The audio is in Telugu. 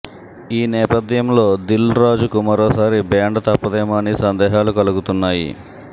ఈ నేపథ్యంలో దిల్ రాజుకు మరోసారి బ్యాండ్ తప్పదేమో అని సందేహాలు కలుగుతున్నాయి